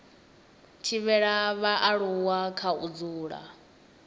thivhela vhaaluwa kha u dzula